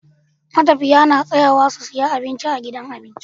Matafiya na tsayawa su siya abinci a gidan abinci